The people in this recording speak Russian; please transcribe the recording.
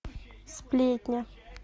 сплетня